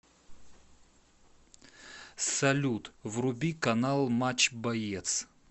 салют вруби канал матч боец